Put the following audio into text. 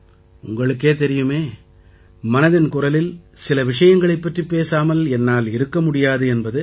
உங்களுக்கே தெரியுமே மனதின் குரலில் சில விஷயங்களைப் பற்றிப் பேசாமல் என்னால் இருக்க முடியாது என்பது